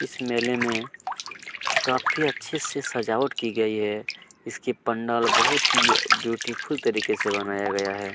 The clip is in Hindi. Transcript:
इस मेले में काफी अच्छे से सजावट की गई है इसकी पंडाल बहुत ही ब्यूटीफुल तरीके से बनाया गया है।